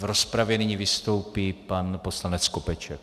V rozpravě nyní vystoupí pan poslanec Skopeček.